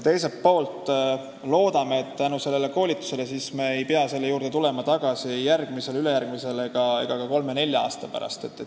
Teiselt poolt loodame, et tänu sellele koolitusele ei pea me selle juurde tulema tagasi järgmisel ega ülejärgmisel aastal ega ka kolme-nelja aasta pärast.